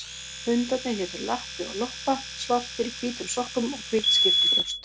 Hundarnir hétu Lappi og Loppa, svartir í hvítum sokkum og hvítt skyrtubrjóst.